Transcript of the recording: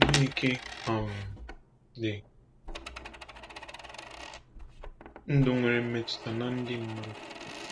Nweke um dị ndụ nwere mmetụta na ndị mmadụ.